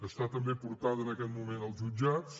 està també por·tada en aquest moment als jutjats